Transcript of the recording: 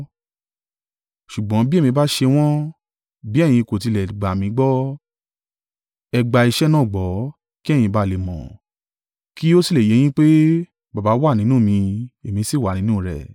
Ṣùgbọ́n bí èmi bá ṣe wọ́n, bí ẹ̀yin kò tilẹ̀ gbà mí gbọ́, ẹ gbà iṣẹ́ náà gbọ́, kí ẹ̀yin ba à lè mọ̀, kí ó sì lè yé yín pé, Baba wà nínú mi, èmi sì wà nínú rẹ̀.”